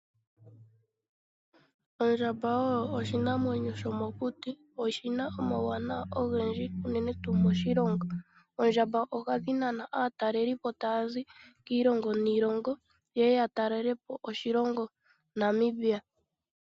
Ondjamba oyo oshinamwenyo sho mokuti. Oshina omawuwanawa ogendji unene tuu moshilongo. Oondjamba ohadhi nana aatalelipo taya zi kiilongo niilongo, ye ye ya talelepo oshilongo Namibia.